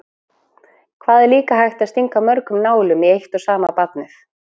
Hvað var líka hægt að stinga mörgum nálum í eitt og sama barnið?